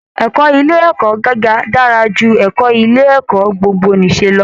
Ẹ̀kọ́ ilé ẹ̀kọ́ gíga dára ju ẹ̀kọ́ ilé ẹ̀kọ́ gbogbo-nìṣe lọ